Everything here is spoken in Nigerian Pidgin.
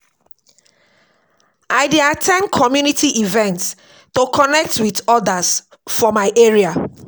I dey at ten d community events to connect with others for my area.